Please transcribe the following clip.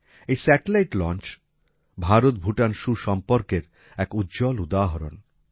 এই satellite launch Bharat Bhutan সুসম্পর্কের এক উজ্জ্বল উদাহরণ